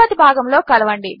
తరువాతి భాగములో కలవండి